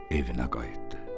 Evünə qayıtdı.